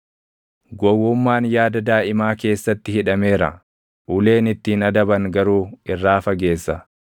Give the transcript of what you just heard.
Gowwummaan yaada daaʼimaa keessatti hidhameera; uleen ittiin adaban garuu irraa fageessa.